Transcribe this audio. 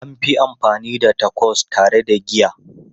An fi amfani da Tacos tare da giya.